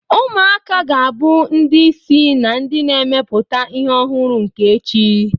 Ụmụaka ga-abụ ndị isi na ndị na-emepụta ihe ọhụrụ nke echi.